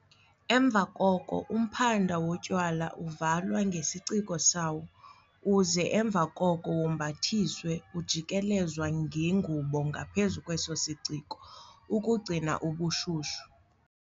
Emva koko umphanda wotywala, uvalwa ngesiciko sawo, uze emva koko wombathiswe ujikelezwa ngengubo ngaphezu kweso siciko, ukugcina ubushushu.